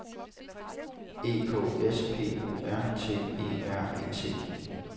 E K S P O R T E R E T